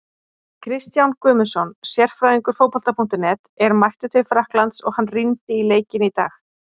Kristján Guðmundsson, sérfræðingur Fótbolta.net, er mættur til Frakklands og hann rýndi í leikinn í dag.